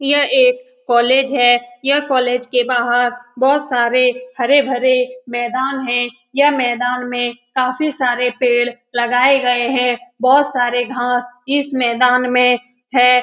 यह एक कॉलेज है। यह कॉलेज के बाहर बहुत सारे हरे-भरे मैदान हैं। यह मैदान में काफी सारे पेड़ लगाए गये हैं। बहुत सारे घास इस मैदान में हैं।